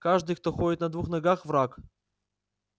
каждый кто ходит на двух ногах враг